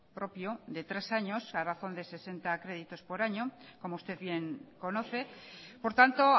propio de tres años a razón de sesenta créditos por año como usted bien conoce por tanto